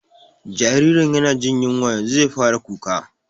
Jaririn yana jin yunwa, yanzu zai fara kuka